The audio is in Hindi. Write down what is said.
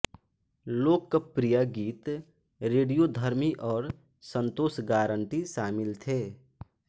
लोकप्रिय गीत रेडियोधर्मी और संतोष गारंटी शामिल थे